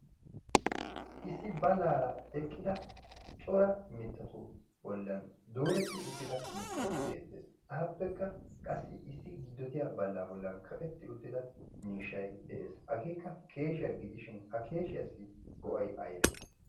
issi ballaara eqqida cora mittatu bollan dooretti uttida mittay deettees ahappekka qassi issi giddotiya ballaa bollan kaqetti uttida miishshai de'ees hageekka keeshiyaa gidishin ha keeshiyaassi go'ai aybe